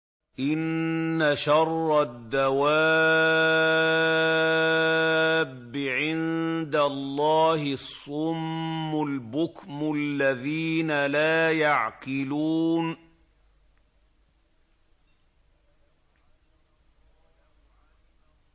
۞ إِنَّ شَرَّ الدَّوَابِّ عِندَ اللَّهِ الصُّمُّ الْبُكْمُ الَّذِينَ لَا يَعْقِلُونَ